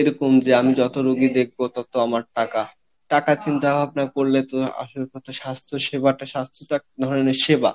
এরকম যে আমি যত রুগী দেখবো তত আমার টাকা, টাকার চিন্তা ভাবনা করলে তো আসল কথা স্বাস্থ্য সেবাটা, স্বাস্থ্যটা ধরেন এক ধরনের সেবা